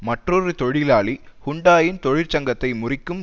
மற்றொரு தொழிலாளி ஹுண்டாயின் தொழிற்சங்கத்தை முறிக்கும்